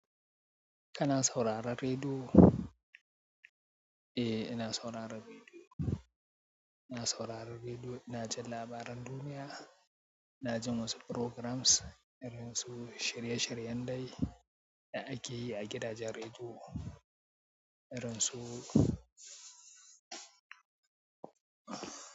Kana sauraren rediyo? Eh, ina sauraron rediyo. Ina sauraron rediyo, ina jin labaran duniya, ina jin wasu programs irin su shirye-shiryen dare da ake yi a gidajen rediyo, irin su.